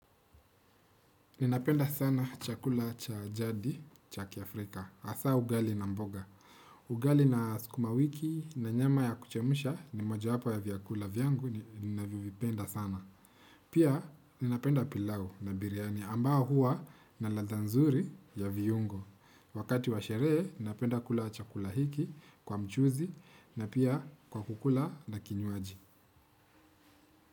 Ninapenda sana chakula cha jadi, cha kiafrika, hasa ugali na mboga. Ugali na sukuma wiki na nyama ya kuchemsha ni moja wapo ya vyakula vyangu, ninavyovipenda sana. Pia ninapenda pilau na biryani ambao huwa na ladha nzuri ya viungo. Wakati wa sherehe, napenda kula chakula hiki kwa mchuzi na pia kwa kukula na kinywaji.